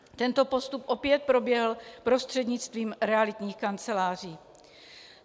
Tento postup opět proběhl prostřednictvím realitních kanceláří.